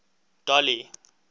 dolly